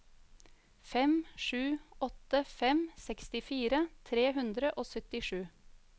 fem sju åtte fem sekstifire tre hundre og syttisju